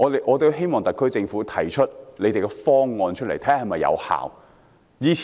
我希望特區政府提出方案，看看是否有效。